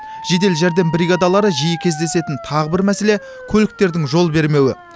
жедел жәрдем бригадалары жиі кездесетін тағы бір мәселе көліктердің жол бермеуі